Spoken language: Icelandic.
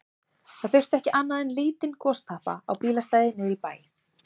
Það þurfti ekki annað en lítinn gostappa á bílastæði niðri í bæ.